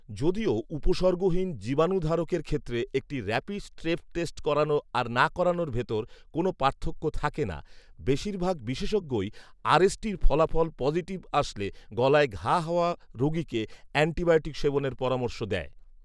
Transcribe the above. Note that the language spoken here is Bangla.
যদিও উপসর্গহীন জীবাণুধারকের ক্ষেত্রে একটি র‍্যাপিড স্ট্রেপ টেস্ট করানো আর না করানোর ভেতর কোনও পার্থক্য থাকে না, বেশিরভাগ বিশেষজ্ঞই আর এস টি'র ফলাফল পজিটিভ আসলে গলায় ঘা হওয়া রোগীকে এ্যান্টিবায়োটিক সেবনের পরামর্শ দেয়